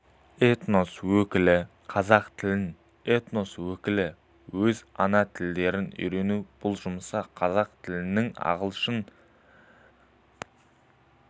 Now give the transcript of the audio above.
этнос өкілі қазақ тілін этнос өкілі өз ана тілдерін үйренуде бұл жұмысқа қазақ тілінің ағылшын